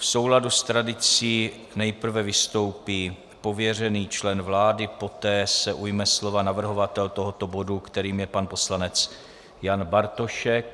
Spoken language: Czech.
V souladu s tradicí nejprve vystoupí pověřený člen vlády, poté se ujme slova navrhovatel tohoto bodu, kterým je pan poslanec Jan Bartošek.